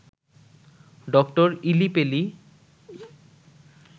doctor ইলি পেলি